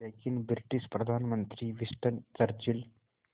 लेकिन ब्रिटिश प्रधानमंत्री Winston Churchill